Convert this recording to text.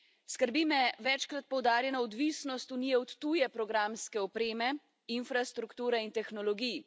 Skrbi me večkrat poudarjena odvisnost Unije od tuje programske opreme, infrastrukture in tehnologij.